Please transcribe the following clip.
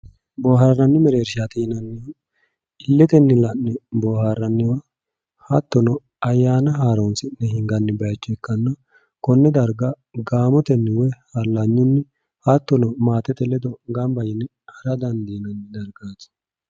boohaarranni mereershaati yineemmohu illetenni la'ne boohaarranniwa hattono ayyaana haaroonssi'ne hinganni bayiicho ikkanna konne darga gaamotenni woy hallanyunni hattono maatete ledo ganba yine hara dandiinanni dargaati